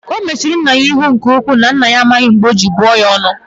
O mechiri nna ya ihu nke-uku, na nna ya amaghi mb͕e ọ ji buo ya onu.